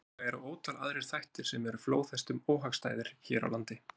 Sennilega eru ótal aðrir þættir sem eru flóðhestum óhagstæðir hér á landi.